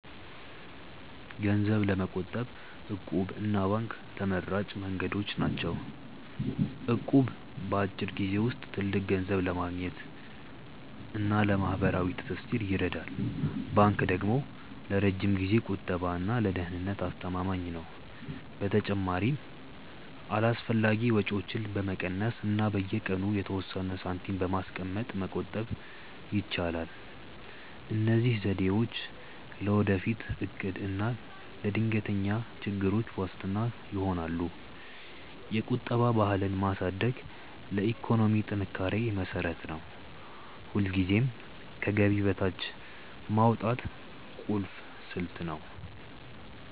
ገንዘብ ለመቆጠብ 'እቁብ' እና ባንክ ተመራጭ መንገዶች ናቸው። እቁብ በአጭር ጊዜ ውስጥ ትልቅ ገንዘብ ለማግኘት እና ለማህበራዊ ትስስር ይረዳል። ባንክ ደግሞ ለረጅም ጊዜ ቁጠባ እና ለደህንነት አስተማማኝ ነው። በተጨማሪም አላስፈላጊ ወጪዎችን በመቀነስ እና በየቀኑ የተወሰነ ሳንቲም በማስቀመጥ መቆጠብ ይቻላል። እነዚህ ዘዴዎች ለወደፊት እቅድ እና ለድንገተኛ ችግሮች ዋስትና ይሆናሉ። የቁጠባ ባህልን ማሳደግ ለኢኮኖሚ ጥንካሬ መሰረት ነው። ሁልጊዜም ከገቢ በታች ማውጣት ቁልፍ ስልት ነው።